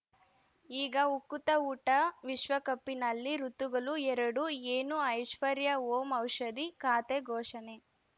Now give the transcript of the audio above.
ಈಗ ಉಕುತ ಊಟ ವಿಶ್ವಕಪ್ಪಿನಲ್ಲಿ ಋತುಗಳು ಎರಡು ಏನು ಐಶ್ವರ್ಯಾ ಓಂ ಔಷಧಿ ಖಾತೆ ಘೋಷಣೆ